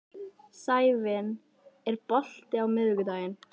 Sævin, er bolti á miðvikudaginn?